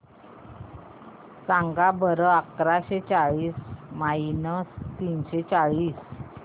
सांगा बरं अकराशे चाळीस मायनस तीनशे चाळीस